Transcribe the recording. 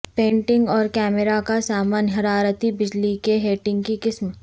painting اور camera کا سامان حرارتی بجلی کے ہیٹنگ کی قسم